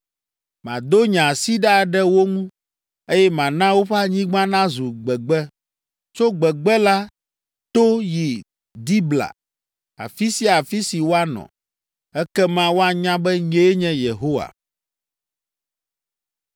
Mado nye asi ɖa ɖe wo ŋu, eye mana woƒe anyigba nazu gbegbe, tso gbegbe la to yi Dibla, afi sia afi si woanɔ. Ekema woanya be nyee nye Yehowa.’ ”